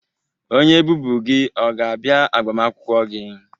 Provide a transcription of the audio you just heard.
Onye bụbu gị ọ ga-abịa agbamakwụkwọ gị?